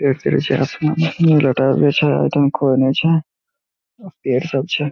पेड़ सभी छे पेड़ सब छे।